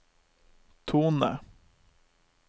tone